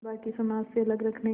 बाक़ी समाज से अलग रखने